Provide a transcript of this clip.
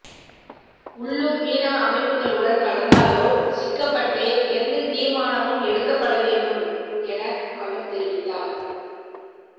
உள்ளூர் மீனவ அமைப்புகளுடன் கலந்தாலோசிக்கப்பட்டே எந்தத்தீர்மானமும் எடுக்கப்படவேண்டும் என அவர் தெரிவித்தார்